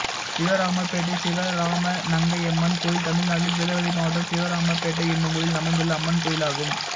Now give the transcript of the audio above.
சிவராமபேட்டை சிவராமநங்கையம்மன் கோயில் தமிழ்நாட்டில் திருநெல்வேலி மாவட்டம் சிவராமபேட்டை என்னும் ஊரில் அமைந்துள்ள அம்மன் கோயிலாகும்